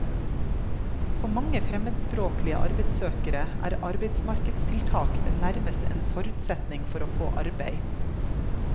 For mange fremmedspråklige arbeidssøkere er arbeidsmarkedstiltak nærmest en forutsetning for å få arbeid.